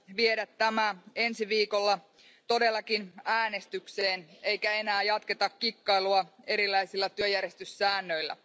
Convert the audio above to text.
viedä tämä ensi viikolla todellakin äänestykseen eikä enää jatketa kikkailua erilaisilla työjärjestyssäännöillä.